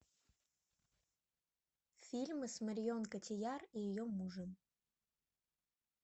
фильмы с марион котийяр и ее мужем